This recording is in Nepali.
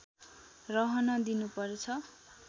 रहन दिनु पर्छ